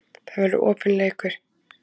Það verður opinn leikur